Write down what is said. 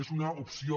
és una opció